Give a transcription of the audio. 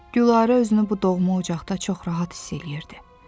Gülarə özünü bu doğma ocaqda çox rahat hiss eləyirdi.